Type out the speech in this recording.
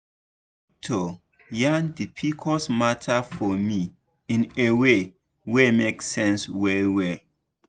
my doctor yan the pcos matter for me in a way wey make sense well well.